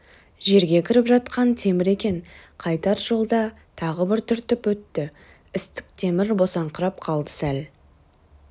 жерге кіріп жатқан темір екен қайтар жолда тағы бір түртіп өтті істік темір босаңқырап қалды сәл